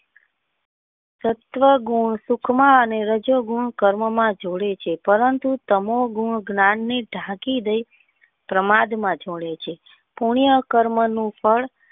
સત્વગુણ સુખ માં અને યજોગુણ કર્મ માં જોડે છે પરંતુ તમો ગન જ્ઞાન ને ઢાંકી દે પ્રમાદ માં જોડે છે કોને આ કર્મ નું ફળ.